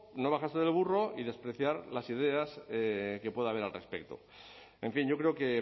no bajarse del burro y despreciar las ideas que pueda haber al respecto en fin yo creo que